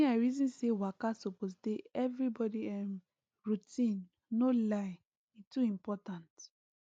me i reason say waka suppose dey everybody um routine no lie e too important